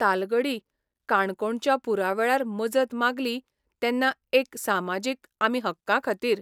तालगडी काणकोणच्या पुरा वेळार मजत मागली तेन्ना एक सामाजीक आमी हक्कां खातीर